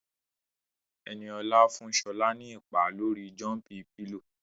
Ẹniolá fún Ṣọlá ní ìpá lórii jọ́ḿpí pilò